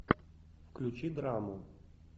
включи драму